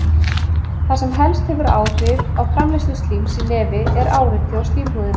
Það sem helst hefur áhrif á framleiðslu slíms í nefi er áreiti á slímhúðina.